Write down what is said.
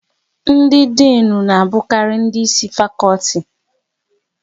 Ndị Dịnụ na abukari ndị Ịsị fakọlti